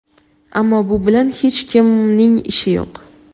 ammo bu bilan hech kimning ishi yo‘q.